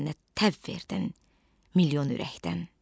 Sən mənə təv verdin milyon ürəkdən.